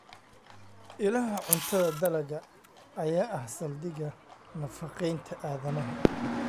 Ilaha Cuntada Dalagga ayaa ah saldhigga nafaqeynta aadanaha.